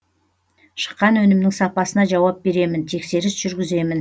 шыққан өнімнің сапасына жауап беремін тексеріс жүргіземін